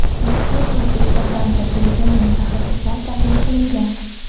Rossiya va O‘zbekistondan tajribali mutaxassislar taklif qilingan.